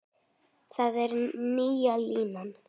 Það er nýja línan.